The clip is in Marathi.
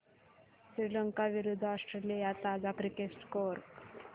श्रीलंका विरूद्ध ऑस्ट्रेलिया ताजा क्रिकेट स्कोर